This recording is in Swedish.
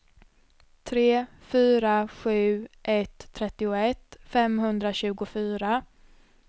tre fyra sju ett trettioett femhundratjugofyra